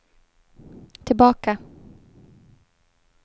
tillbaka